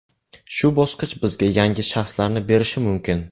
Shu bosqich bizga yangi shaxslarni berishi mumkin.